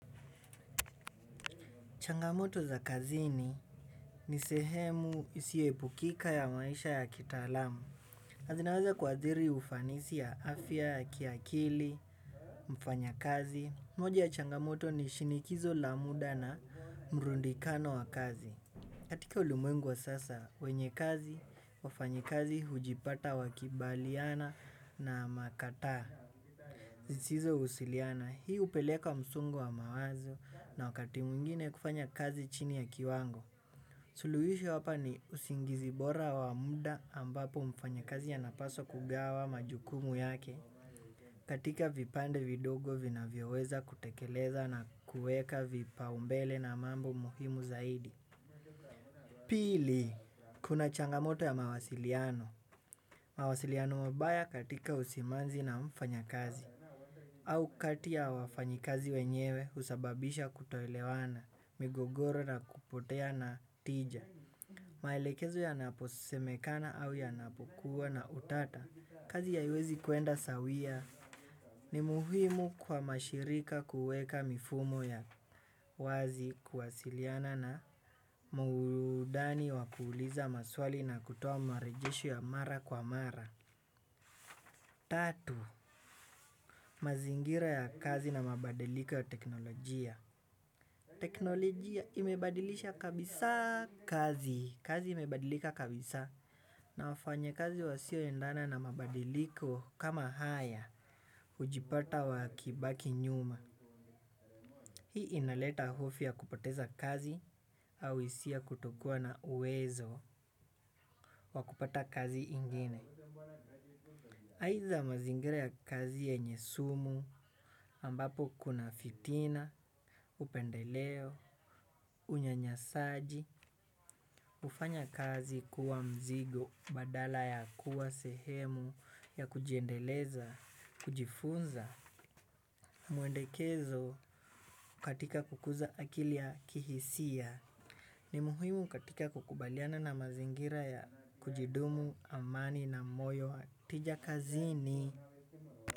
Changamoto za kazini ni sehemu isiyo epukika ya maisha ya kita alamu. Zinaweza kuasiri ufanisi ya afya ya kiakili, mfanya kazi. Moja ya changamoto ni shinikizo la muda na mrundikano wa kazi. Katika ulimwengu wa sasa, wenye kazi, wafanyakazi, hujipata wakibaliana na makataa. Zisizo husiliana, hii upeleka msongo wa mawazo na wakati mwingine kufanya kazi chini ya kiwango. Suluhisho hapa ni usingizi bora wa muda ambapo mfanyakazi anapaswa kugawa majukumu yake. Katika vipande vidogo vina vyoweza kutekeleza na kuweka vipa umbele na mambo muhimu zaidi. Pili. Kuna changamoto ya mawasiliano. Mawasiliano mabaya katika usimanzi na mfanyakazi. Au kati ya wafanyakazi wenyewe husababisha kutoelewana migogoro na kupotea na tija. Maelekezo ya napo semekana au ya napokuwa na utata, kazi haiwezi kwenda sawia ni muhimu kwa mashirika kuweka mifumo ya wazi kuwasiliana na muhudani wa kuuliza maswali na kutoa marejesho ya mara kwa mara. Tatu, mazingira ya kazi na mabadiliko ya teknolojia. Teknolojia imebadilisha kabisa kazi. Kazi imebadilika kabisa na wafanya kazi wasio endana na mabadiliko kama haya hujipata wa kibaki nyuma. Hii inaleta hofu ya kupoteza kazi au hisia kutokuwa na uwezo wa kupata kazi ingine. Aiza mazingira ya kazi yenye sumu ambapo kuna fitina, upendeleo, unyanyasaji, ufanya kazi kuwa mzigo, badala ya kuwa sehemu ya kujiendeleza, kujifunza. Mwendekezo katika kukuza akili ya kihisia ni muhimu katika kukubaliana na mazingira ya kujidumu, amani na moyo watija kazini.